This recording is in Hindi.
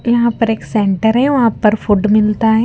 यहां पर एक सेंटर है वहां पर फूड मिलता है।